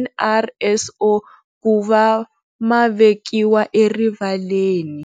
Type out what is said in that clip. NRSO kuva ma vekiwa erivaleni.